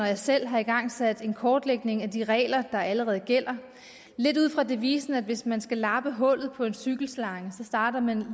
jeg selv har igangsat en kortlægning af de regler der allerede gælder lidt ud fra devisen at hvis man skal lappe hullet på en cykelslange starter man